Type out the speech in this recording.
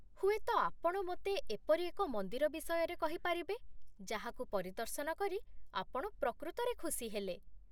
ହୁଏତ ଆପଣ ମୋତେ ଏପରି ଏକ ମନ୍ଦିର ବିଷୟରେ କହିପାରିବେ ଯାହାକୁ ପରିଦର୍ଶନ କରି ଆପଣ ପ୍ରକୃତରେ ଖୁସି ହେଲେ।